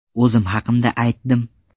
O‘zim haqimda aytdim.